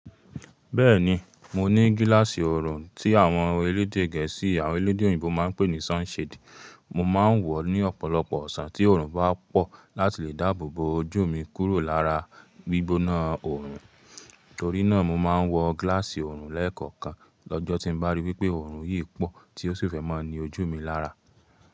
Bẹ́ẹ̀ni, mo ní gíláàsì oorun tí àwọn elédè Gẹ̀ẹ́sì àwọn elédè òyìnbó máa ń pè ní sunshade. Mo máa ń wọ̀ ọ́ ní ọ̀pọ̀lọpọ̀ ọ̀sán tí oorun bá pọ̀ láti lè dáàbò bo ojú mi kúrò lára gbígbóná oorun. Torí náà, mo máa ń wọ gíláàsì oorun lẹ́ẹ̀kọ̀kan lọ́jọ́ tí bá rí wípé oorun yìí pọ̀ tí ó sì fẹ́ máa ni ojú mi lára.